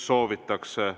Soovitakse.